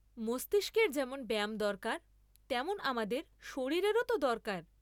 মস্তিষ্কের যেমন ব্যায়াম দরকার তেমন আমাদের শরীরেরও তো দরকার।